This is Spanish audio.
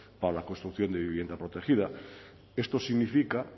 para la construcción de vivienda protegida esto significa